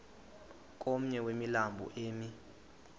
komnye wemilambo emi